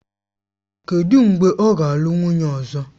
Kedụ mgbe ọ ga-alụ nwunye ọzọ?